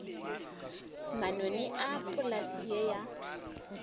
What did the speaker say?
manoni a polase ye ya